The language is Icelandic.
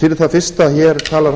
fyrir það fyrsta hér talar